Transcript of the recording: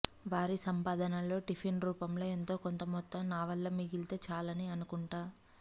వారి సంపాదనలో టిఫిను రూపంలో ఎంతో కొంత మొత్తం నావల్ల మిగిలితే చాలని అనుకుంటా